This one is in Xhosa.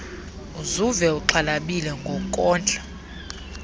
uzuve uxhalabile ngokondla